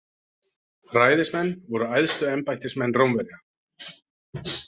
Ræðismenn voru æðstu embættismenn Rómverja.